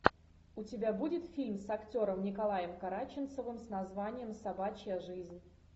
у тебя будет фильм с актером николаем караченцовым с названием собачья жизнь